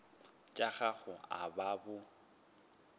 tša gago a ba bo